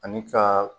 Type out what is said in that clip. Ani ka